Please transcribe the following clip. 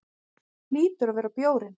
Hlýtur að vera bjórinn.